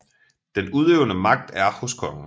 Den udøvende magt er hos kongen